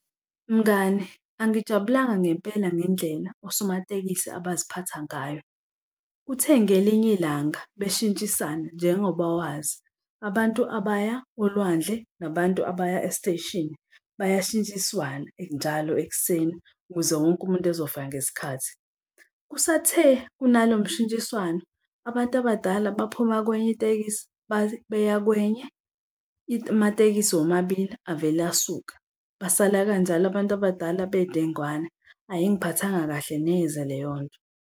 Mngani, angijabulanga ngempela ngendlela osomatekisi abaziphatha ngayo. Kuthe ngelinye ilanga beshintshisana njengoba wazi, abantu abaya olwandle, nabantu abaya esiteshini bayashintshiswana njalo ekuseni ukuze wonke umuntu ezofika ngesikhathi. Kusathe kunalo mshintshiswano, abantu abadala baphuma kwenye itekisi beya kwenye amatekisi womabili avele asuka, basala kanjalo abantu abadala bedengwane. Ayingiphathanga kahle neze leyo nto.